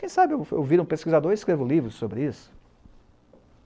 ''Quem sabe eu vire um pesquisador e escreva um livro sobre isso.''